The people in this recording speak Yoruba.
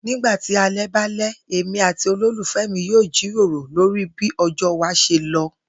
Nígbà tí alé̩ bá lé̩, èmi àti olólùfè̩ mi yóò jiròrò lórí bí o̩jó̩ wa s̩e lo